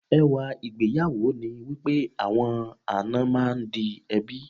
Ẹwà ìgbéyàwó ni wípé àwọn àna máa ń di ẹbí.